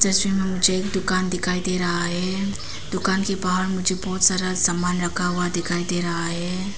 मे मुझे एक दुकान दिखाई दे रहा है दुकान के बाहर मुझे बहोत सारा सामान रखा हुआ दिखाई दे रहा।